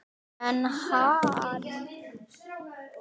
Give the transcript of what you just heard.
En hann!